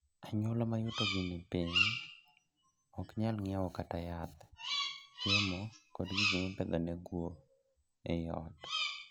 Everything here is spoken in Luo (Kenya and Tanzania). Anyuola ma yutogi ni piny ok nyal ng'iewo kata yath, chiemo, kod gik mipedho na guo ii ot.